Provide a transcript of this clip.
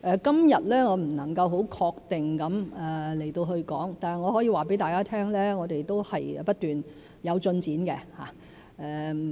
今日我不能夠很確定地說，但我可以告訴大家，我們是不斷有進展的。